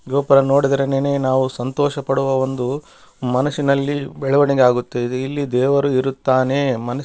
ಗೋಪರ ನೋಡಿದ್ರೆನೆನೆ ನಾವು ಸಂತೋಷ ಪಡುವ ಒಂದು ಮನಸ್ಸಿನಲ್ಲಿ ಬೆಳೆವಣಿಗೆ ಆಗುತ್ತದೆ ಇಲ್ಲಿ ದೇವರು ಇರುತ್ತಾನೆ ಮನಸ್ --